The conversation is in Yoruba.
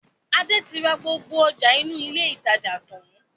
Adé tí ra gbogbo ọjà inú ilé ìtajà tàn-án